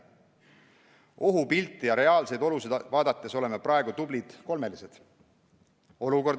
Ohupilti ja reaalseid olusid vaadates oleme praegu tublid kolmelised.